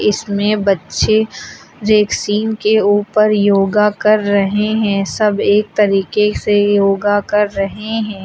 इसमें बच्चे रेक्सीन के ऊपर योगा कर रहे हैं। सब एक तरीके से योगा कर रहे हैं।